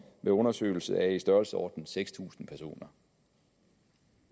med undersøgelse af i størrelsesordenen seks tusind personer